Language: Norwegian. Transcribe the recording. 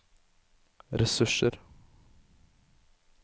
ressurser